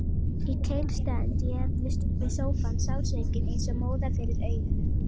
Í keng stend ég við sófann, sársaukinn eins og móða fyrir augunum.